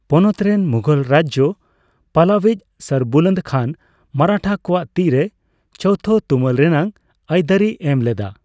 ᱯᱚᱱᱚᱛ ᱨᱮᱱ ᱢᱩᱜᱷᱚᱞ ᱨᱟᱡᱽᱡᱚ ᱯᱟᱞᱟᱣᱤᱡᱽ ᱥᱚᱨᱵᱩᱞᱚᱱᱫ ᱠᱷᱟᱱ ᱢᱟᱨᱟᱴᱷᱟ ᱠᱚᱣᱟᱜ ᱛᱤᱨᱮ ᱪᱳᱣᱛᱷᱚ ᱛᱩᱢᱟᱹᱞ ᱨᱮᱱᱟᱜ ᱟᱹᱭᱫᱟᱹᱨᱤᱭ ᱮᱢ ᱞᱮᱫᱟ ᱾